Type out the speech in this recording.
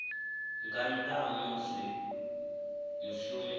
nga nnḓa ha musi mushumi